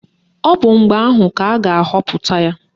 Ọ bụ mgbe ahụ ka a ga-ahọpụta ya.